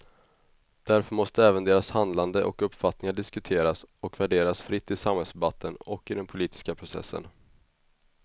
Därför måste även deras handlande och uppfattningar diskuteras och värderas fritt i samhällsdebatten och i den politiska processen.